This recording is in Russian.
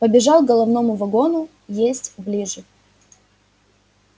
побежал к головному вагону есть ближе